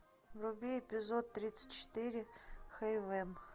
вруби эпизод тридцать четыре хэйвен